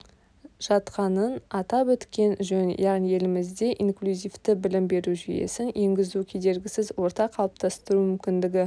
жатқанын атап өткен жөн яғни елімізде инклюзивті білім беру жүйесін енгізу кедергісіз орта қалыптастыру мүмкіндігі